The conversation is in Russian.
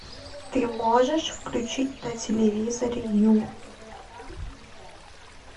ты можешь включить на телевизоре ю